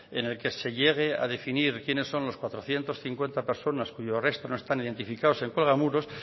en el que se llegué a definir quiénes son las cuatrocientos cincuenta personas cuyos restos no están identificado en cuelgamuros